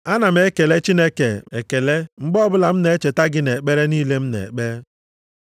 Ana m ekele Chineke ekele mgbe ọbụla m na-echeta gị nʼekpere niile m na-ekpe.